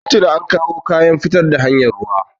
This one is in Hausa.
Tun tuni an kawo kayan fitar da hanyar ruwa.